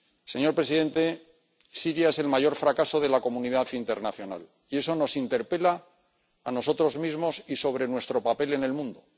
Señor presidente, Siria es el mayor fracaso de la comunidad internacional, y eso nos interpela a nosotros mismos y sobre nuestro papel en el mundo.